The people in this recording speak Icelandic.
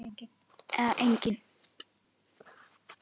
Eða engin?